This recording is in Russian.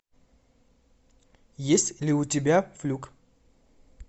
есть ли у тебя флюк